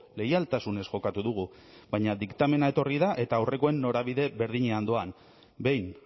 leialtasunez jokatu dugu baina diktamena etorri da eta aurrekoen norabide berdinean doan behin